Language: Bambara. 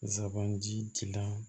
Zaban jilan